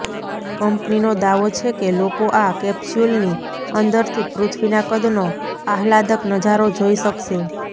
કંપનીનો દાવો છે કે લોકો આ કેપ્સ્યુલની અંદરથી પૃથ્વીના કદનો આહલાદક નજારો જોઈ શક્શે